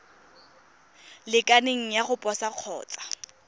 lekaneng ya go posa kgotsa